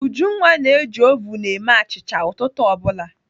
Ujunwa na-eji ovun eme achịcha ụtụtụ ọ bụla.